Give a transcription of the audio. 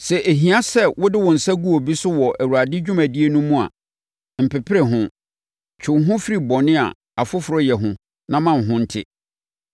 Sɛ ɛhia sɛ wode wo nsa gu obi so wɔ Awurade dwumadie no mu a, mpepere ho. Twe wo ho firi bɔne a ɔfoforɔ yɛ ho na ma wo ho nte.